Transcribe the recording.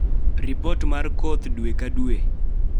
ripot mar koth dwe ka dwe